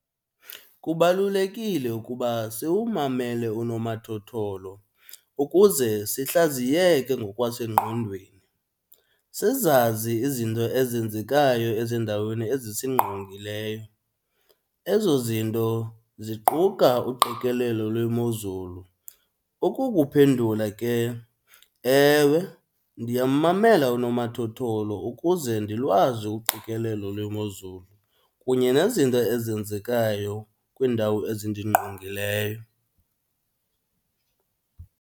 Kubalulekile ukuba siwumamele unomathotholo ukuze sihlaziyeke ngokwasengqondweni, sizazi izinto ezenzekayo ezindaweni ezisingqongileyo, ezo zinto ziquka uqikelelo lwemozulu. Ukukuphendula ke, ewe, ndiyammamela unomathotholo ukuze ndilwazi uqikelelo lwemozulu kunye nezinto ezenzekayo kwiindawo ezindingqongileyo.